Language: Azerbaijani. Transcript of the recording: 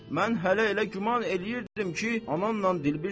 Mən hələ elə güman eləyirdim ki, anamla dilbirsən.